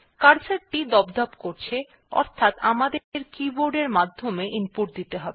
cursor টি দপদপ করছে অর্থাৎ আমাদের কিবোর্ড এর মাধ্যমে ইনপুট দিতে হবে